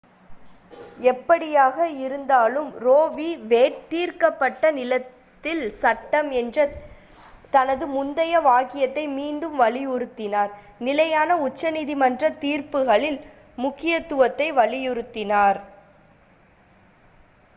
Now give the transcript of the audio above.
"எப்படியாக இருந்தாலும் Roe v. Wade "தீர்க்கப்பட்ட நிலத்தில் சட்டம்" என்ற தனது முந்தைய வாக்கியத்தை மீண்டும் வலியுறுத்தினார் நிலையான உச்சநீதிமன்றத் தீர்ப்புகளின் முக்கியத்துவத்தை வலியுறுத்தினார்.